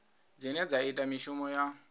dzine dza ita mishumo ya